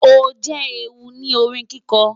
O jẹ ẹru ni orin kiko